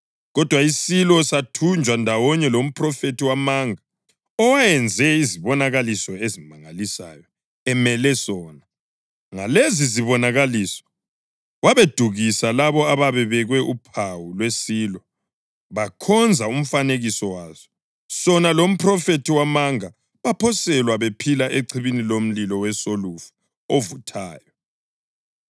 Kodwa isilo sathunjwa ndawonye lomphrofethi wamanga owayenze izibonakaliso ezimangalisayo emele sona. Ngalezi zibonakaliso wabedukisa labo ababebekwe uphawu lwesilo bakhonza umfanekiso waso. Sona lomphrofethi wamanga baphoselwa bephila echibini lomlilo wesolufa ovuthayo.